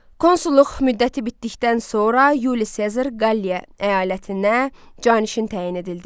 Konsulluq müddəti bitdikdən sonra Yuli Sezar Qaliyə əyalətinə canişin təyin edildi.